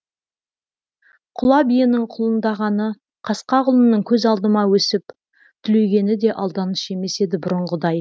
құла биенің құлындағаны қасқа құлынның көз алдымда өсіп түлегені де алданыш емес еді бұрынғыдай